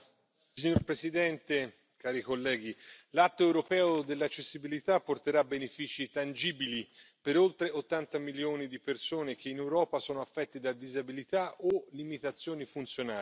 Signor Presidente, onorevoli colleghi, l'atto europeo sull'accessibilità porterà benefici tangibili per oltre 80 milioni di persone che in Europa sono affette da disabilità o limitazioni funzionali.